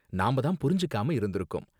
நாம தான் புரிஞ்சுக்காம இருந்திருக்கோம்